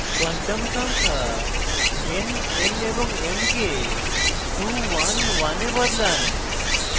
quantum সংখ্যা n l এবং m কে 2 1 1 এ বদলান